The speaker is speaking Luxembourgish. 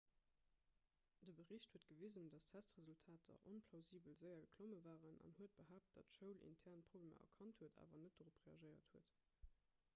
de bericht huet gewisen datt testresultater onplausibel séier geklomme waren an huet behaapt datt d'schoul intern problemer erkannt huet awer net dorop reagéiert huet